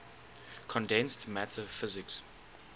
condensed matter physics